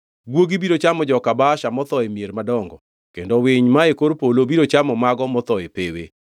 Guogi biro chamo joka Baasha motho e mier madongo, kendo winy mae kor polo biro chamo mago motho e pewe.